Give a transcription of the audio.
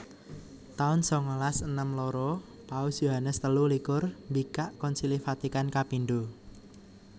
taun sangalas enem loro Paus Yohanes telu likur mbikak Konsili Vatikan kapindho